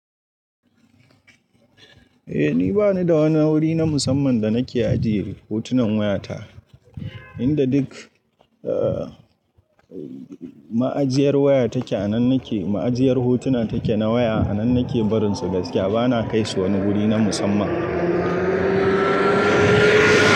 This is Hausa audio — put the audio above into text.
Eh ni bani da wani wuri na musamman da nake ajiye hotunan wayata, inda duk, eh, ma'ajiyar waya take a nan nake, ma'ajiyar hotuna take na waya. A nan nake barinsu gaskiya bana kai su wani guri na musamman.